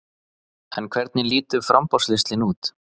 En hvernig lítur framboðslistinn út?